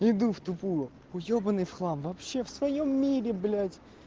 иду в тупую уёбаный в хлам вообще в своём мире блять